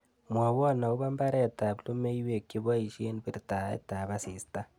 Mwawon agoboo mbareetaab lum? yweek cheboiisien birtaetap asista